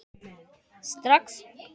Jóhann: Strax?